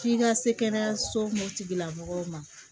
F'i ka se kɛnɛyasolamɔgɔw ma